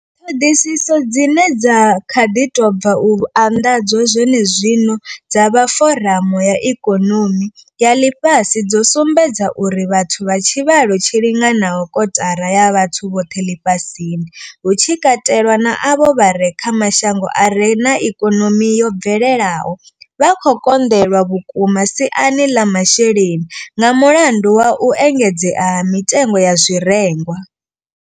Ṱhoḓisiso dzine dza kha ḓi tou bva u anḓadzwa zwenezwino dza vha foramu ya ikonomi ya ḽifhasi dzo sumbedza uri vhathu vha tshivhalo tshi linganaho kotara ya vhathu vhoṱhe ḽifhasini, hu tshi katelwa na avho vha re kha mashango a re na ikonomi yo bvelelaho, vha khou konḓelwa vhukuma siani ḽa zwa masheleni nga mulandu wa u engedzea ha mitengo ya zwirengwa.